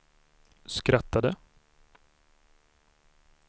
skrattade